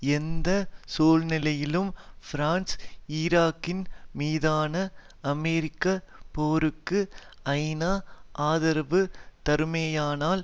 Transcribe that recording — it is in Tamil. எந்த சூழ்நிலையிலும் பிரான்ஸ் ஈராக்கின் மீதான அமெரிக்க போருக்கு ஐநா ஆதரவு தருமேயானால்